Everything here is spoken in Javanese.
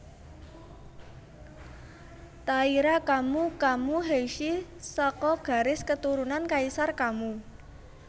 Taira Kammu Kammu Heishi saka garis keturunan Kaisar Kammu